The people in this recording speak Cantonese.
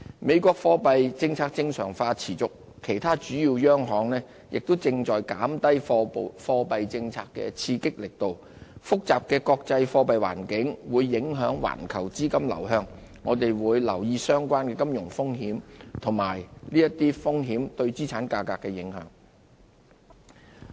美國貨幣政策正常化持續，其他主要央行亦正在減低貨幣政策的刺激力度，複雜的國際貨幣環境會影響環球資金流向，我們會留意相關的金融風險和這些風險對資產價格的影響。